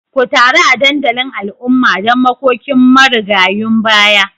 Ku taru a dandalin al'umma don makokin marigayun baya